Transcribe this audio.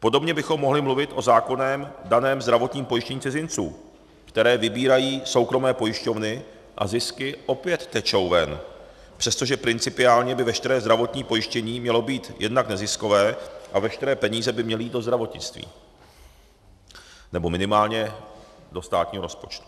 Podobně bychom mohli mluvit o zákonem daném zdravotním pojištění cizinců, které vybírají soukromé pojišťovny, a zisky opět tečou ven, přestože principiálně by veškeré zdravotní pojištění mělo být jednak neziskové a veškeré peníze by měly jít do zdravotnictví nebo minimálně do státního rozpočtu.